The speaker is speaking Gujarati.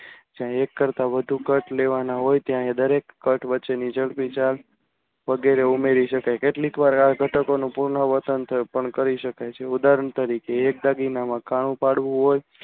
જ્યાં એક કરતાં વધુ cut લેવા લેવાના હોય ત્યારે ત્યાં દરેક cut વચ્ચેની જગ્યા વગેરે ઉમેરી શકાય. કેટલી વાર આ ઘટકોનું પુનરાવર્તન પણ કરી શકાય છે. ઉદાહરણ તરીકે એક દાગીનામાં કાણું પાડવું હોય તો